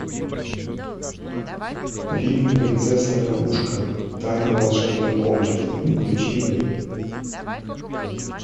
фильм принцесса лягушка тайна волшебной комнаты включи мне